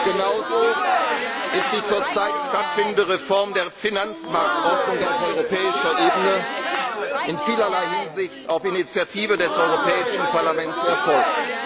Kollegen! Genauso ist die zurzeit stattfindende Reform der Finanzmarktordnung auf europäischer Ebene in vielerlei Hinsicht auf Initiative des Europäischen Parlaments